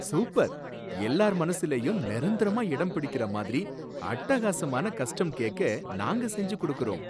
Super! எல்லார் மனசுலேயும் நிரந்தரமா இடம்பிடிக்கிற மாதிரி அட்டகாசமான கஸ்டம் கேக்க நாங்க செஞ்சு கொடுக்கிறோம்.